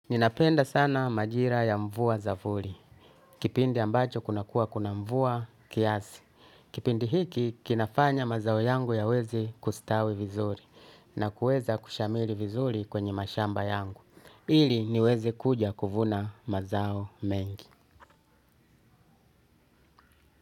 Ninapenda sana majira ya mvua za vuli. Kipindi ambacho kuna kuwa kuna mvua kiasi. Kipindi hiki kinafanya mazao yangu yaweze kustawi vizuri. Na kuweza kushamiri vizuri kwenye mashamba yangu. Ili niweze kuja kuvuna mazao mengi.